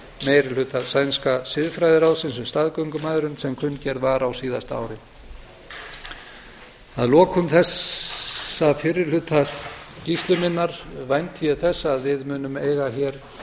meiri hluta sænska siðfræðiráðsins um staðgöngumæðrun sem kunngerð var á síðasta ári að lokum þessa fyrri hluta skýrslu minnar vænti ég þess að við munum eiga hér